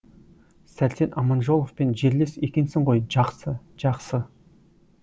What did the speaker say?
сәрсен аманжоловпен жерлес екенсің ғой жақсы жақсы